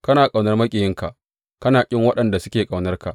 Kana ƙaunar maƙiyinka, kana ƙin waɗanda suke ƙaunarka.